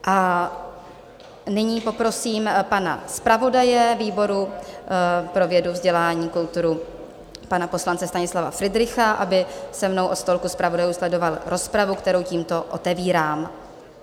A nyní poprosím pana zpravodaje výboru pro vědu, vzdělání, kulturu, pana poslance Stanislava Fridricha, aby se mnou od stolku zpravodajů sledoval rozpravu, kterou tímto otevírám.